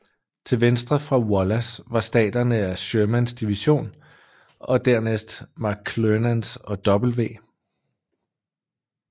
Til venstre for Wallace var resterne af Shermans division og dernæst McClernands og W